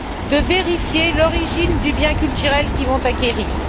de vérifier l'origine du bien culturel qu'ils vont acquérir.